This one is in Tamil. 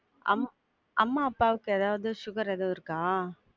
அம் அம்மா அப்பாவுக்கு ஏதாவது sugar ஏதாவது இருக்கா?